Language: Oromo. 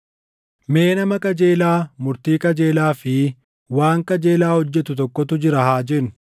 “Mee nama qajeelaa murtii qajeelaa fi waan qajeelaa hojjetu tokkotu jira haa jennu.